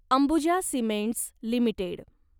Ambuja cements limited